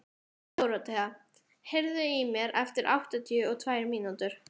Dorothea, heyrðu í mér eftir áttatíu og tvær mínútur.